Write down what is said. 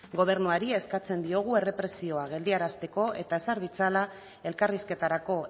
gobernuari eskatzen diogu errepresioa geldiarazteko eta ezar ditzala elkarrizketarako